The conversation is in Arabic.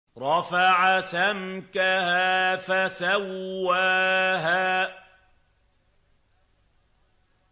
رَفَعَ سَمْكَهَا فَسَوَّاهَا